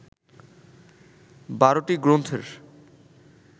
১২টি গ্রন্থের